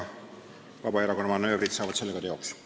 Vabaerakonna manöövrid saavad sellega teoks.